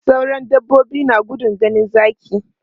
Sauran dabbobi na gudun ganin zaki.